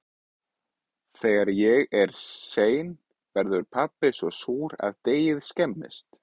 Þegar ég er sein verður pabbi svo súr að deigið skemmist.